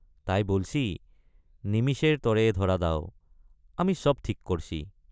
তাই বলছি—নিমিষেৰ তৰে ধৰা দাও আমি সব ঠিক কৰ্ছি।